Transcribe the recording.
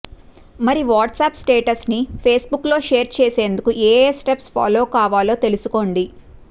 మరి వాట్సప్ స్టేటస్ని ఫేస్బుక్లో షేర్ చేసేందుకు ఏఏ స్టెప్స్ ఫాలో కావాలో తెలుసుకోండి